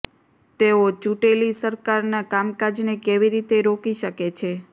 તેઓ ચૂંટેલી સરકારના કામકાજને કેવી રીતે રોકી શકે છે